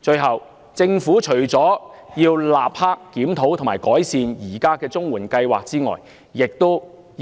最後，政府除了應立即檢討及改善現時的綜援計劃外，亦